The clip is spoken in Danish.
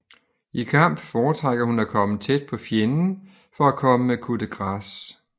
I kamp fortrækker hun at komme tæt på fjenden for at komme med coup de grâce